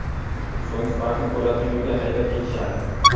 So‘ng Spark’ni Po‘latning uyiga haydab ketishadi.